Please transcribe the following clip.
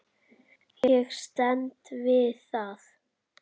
Ég stend við það.